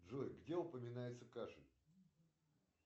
джой где упоминается кашель